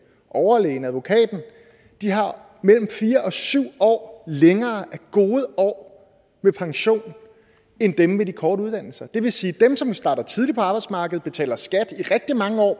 overlægen og advokaten mellem fire og syv år længere af gode år med pension end dem med de korte uddannelser det vil sige at dem som starter tidligt på arbejdsmarkedet og betaler skat i rigtig mange år